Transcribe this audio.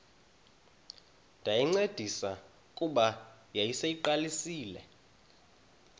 ndayincedisa kuba yayiseyiqalisile